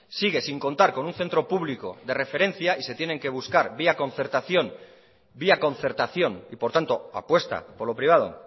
sigue sin contar con un centro público de referencia y se tienen que buscar vía concertación y por tanto apuesta por lo privado